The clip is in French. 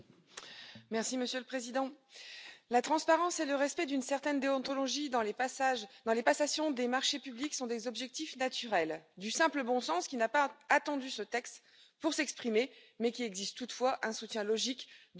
Monsieur le Président, la transparence et le respect d'une certaine déontologie dans les passations de marchés publics sont des objectifs naturels, du simple bon sens, qui n'a pas attendu ce texte pour s'exprimer, mais qui exige toutefois un soutien logique de notre part.